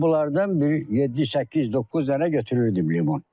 Mən bunlardan bir yeddi, səkkiz, doqquz dənə götürürdüm limon.